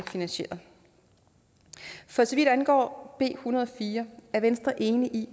finansieret for så vidt angår en hundrede og fire er venstre enig i